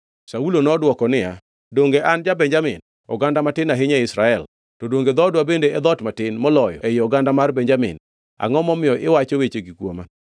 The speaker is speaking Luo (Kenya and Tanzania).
Saulo nodwoko niya, “Donge an ja-Benjamin, oganda matin ahinya ei Israel, to donge dhoodwa bende e dhoot matin, moloyo ei oganda mar Benjamin? Angʼo momiyo iwacho wechegi kuoma?”